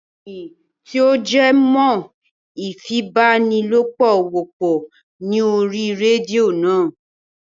Ìròyìn tí ó jẹ́ mọ ìfipábánilòpọ̀ wọ́pọ̀ ní orí rédíò náà.